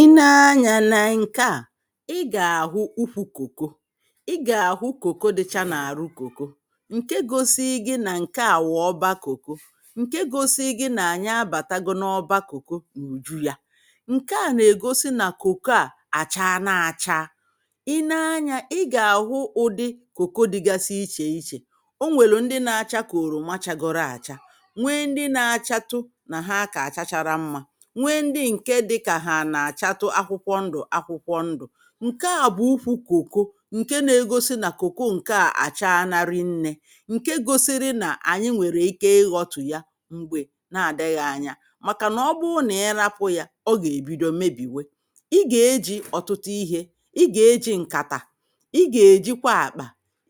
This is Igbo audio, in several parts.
Ị nee anyȧ n’ǹkè a i gà-àhụ ukwu̇ kòko, i gà-àhụ kòko dịcha n’àrụ kòko, ǹke gȯsi̇i gị nà ǹke àwụ ọbȧ kòko, ǹke gȯsi̇i gị nà-ànyi abàtago na ọbȧ kòko n’ùju yȧ ǹke à nà-ègosi nà kòko a àchȧa na-àchaa. i nee anyȧ ị gà-àhụ ụdị kòko dịgasị ichè ichè o nwèlù ndị na-acha kà oroma chagoro àcha. Nwee ndị na-achatụ nà ha akà achachara mmȧ. Nwee ndị ǹke dịka ha ana achatụ akwụkwọ ndụ akwụkwọ ndụ. Nkè a bụ ukwu̇ kòko, ǹke na-egosi nà kòko ǹke à àchaȧna ri nnė, ǹke gosiri nà ànyị nwèrè ike ịghọ̇tù ya mgbė na-àdịghị̇ anya. Màkànà ọbụna ị nȧ-ėrȧpụ̇ yȧ ọ gà-èbido mebìwe i gà-eji ọ̀tụtụ ihė, i gà-eji ǹkàtà, i gà-èjikwa àkpà,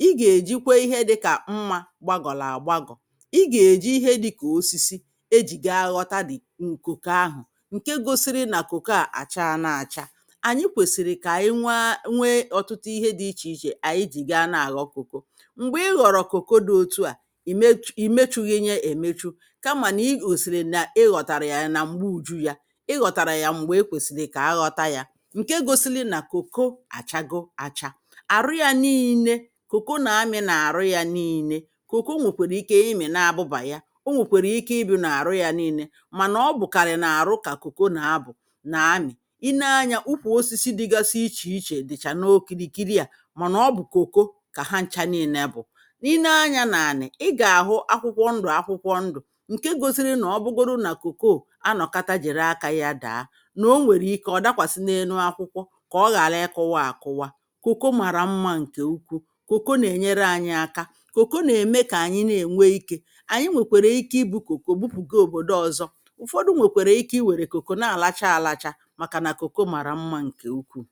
i gà-èjikwe ihe dịkà mmȧ gbagọ̀là àgbagọ̀. i gà-èji ihe dịkà osisi e jì ga aghọta the ¹ ǹkoko ahụ̀, nkè gosiri ná koko a àchaȧna acha. Anyị kwèsìrì kà ànyị nwe nwe ọ̀tụtụ ihe ichè ichè ànyị jì gaa na-àghọ koko. Mgbè ị ghọ̀rọ̀ koko di̇ otu à ì mechu ì mechuyi nyȧ èmechu kamà nà ị gòsìrì nà ị ghọ̀tàrà yȧ nà m̀gbe ùju yȧ, ị ghọ̀tàrà yà m̀gbè ekwèsìrì kà a ghọta yȧ, ǹke gosili nà koko àchago acha. Arụ yȧ niine koko nà-ami̇ n’àrụ yȧ niine koko nwèkwèrè ike imè na-abụbà ya, o nwèkwèrè ike ibi̇ nà àrụ yȧ niine. Mànà ọbụ karịrị ná arụ kà koko ná abụ nà amị̀ i nee anyȧ ukwù osisi dịgasi ichè ichè dị̀chà n’okirikiri à mànà ọ bụ̀ kòko kà ha ncha niine bù. i nee anyȧ nà ànị̀ ị gà-àhụ akwụkwọ ndụ̀ akwụkwọ ndụ̀ ǹke gosiri nà ọ bụgodu nà kòko o a nọ̀kata jiri akȧ ya dàa, n’o nwèrè ike ọ̀ dakwàsị n’enu akwụkwọ kà ọ ghàra ịkụwa àkụwa. Kòko màrà mmȧ ǹkè ukwu. Kòko nà-ènyere anyị aka. kòko nà-ème kà ànyị na-ènwe ikė. Anyị nwèkwèrè ike ibu̇ kòko bupùge òbòdo ọzọ. ụ̀fọdụ nwèkwèrè ike i were koko ná alacha alacha màkà nà koko màrà mmȧ nke ukwuu